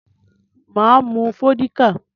Mà á mu vódíkà.